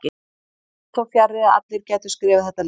Því fór þó fjarri að allir gætu skrifað þetta letur.